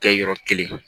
Kɛ yɔrɔ kelen